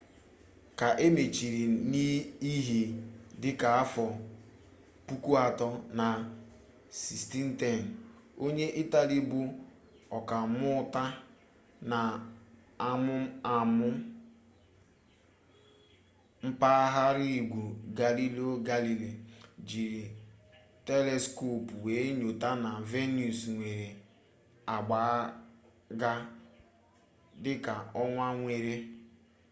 ka e mechara n'ihe dịka afọ puku atọ na 1610 onye itali bụ ọkammuta n'amụmamụ mabaraigwe galileo galilei jiri teleskopụ wee nyote na venus nwere agba ga dịka ọnwa nwere